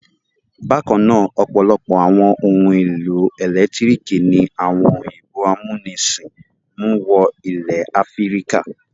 Bákan náà, ọ̀pọ̀lọpọ̀ àwọn ohun-èlò ẹ̀lẹ́tíríkì ni àwọn òyìnbó amúnisìn mú wọ ilẹ̀ Áfíríkà.